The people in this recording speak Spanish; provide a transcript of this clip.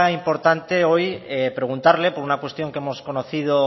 importante hoy preguntarle por una cuestión que hemos conocido